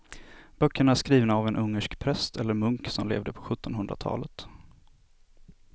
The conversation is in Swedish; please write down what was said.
Böckerna är skrivna av en ungersk präst eller munk som levde på sjuttonhundratalet.